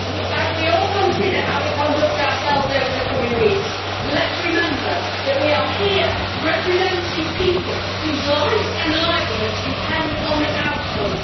As we all consider how we conduct ourselves over the coming weeks, let us remember that we are here representing people whose lives and livelihoods depend on the outcome.